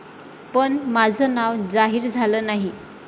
पण माझं नाव जाहीर झालं नाही.